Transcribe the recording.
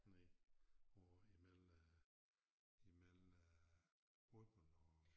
Nej over imel øh imel øh Rudbøl og